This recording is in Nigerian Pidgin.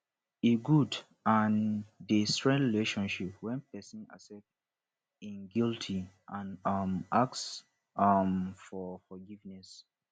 e good and dey strength relationship when pesin accept im guilty and um ask um for forgiveness